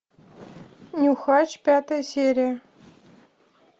нюхач пятая серия